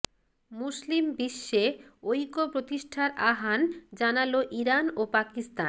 মুসলিম বিশ্বে ঐক্য প্রতিষ্ঠার আহ্বান জানালো ইরান ও পাকিস্তান